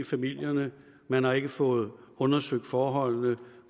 familierne man har ikke fået undersøgt forholdene